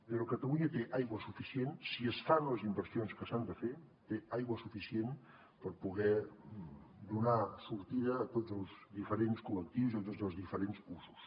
però catalunya té aigua suficient si es fan les inversions que s’han de fer té aigua suficient per poder donar sortida a tots els diferents col·lectius i a tots els diferents usos